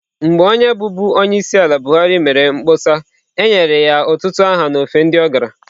Mgbe onye bụbu onyeisiala buhari mere mkpọsa e nyere ya ọtụtụ aha n'ofe ebe ọ gara